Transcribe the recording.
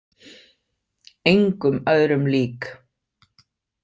Engum öðrum lík.